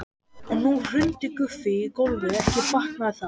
Og nú hrundi Guffi í gólfið, ekki batnaði það!